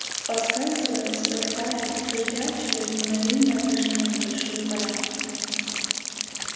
поскальзываясь спотыкаясь друзья через мгновение вышли на небольшую поляну